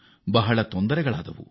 ಬದುಕು ದುಸ್ತರವಾಯಿತು